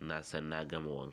na san na gama wanka.